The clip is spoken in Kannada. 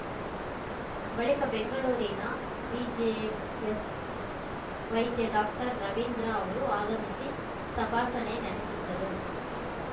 ಬಳಿಕ ಬೆಂಗಳೂರಿನ ಬಿಜೆಎಸ್‌ ವೈದ್ಯ ಡಾಕ್ಟರ್ ರವೀಂದ್ರ ಅವರು ಆಗಮಿಸಿ ತಪಾಸಣೆ ನಡೆಸಿದ್ದರು